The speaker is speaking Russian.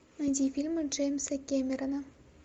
найди фильмы джеймса кэмерона